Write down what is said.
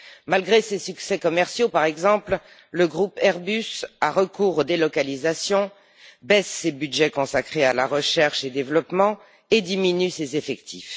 Malgré ses succès commerciaux, par exemple, le groupe Airbus a recours aux délocalisations, baisse ses budgets consacrés à la recherche et développement, et diminue ses effectifs.